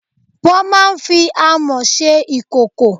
Wọ́n máa ń fi Amọ́ ṣe ìkòkò.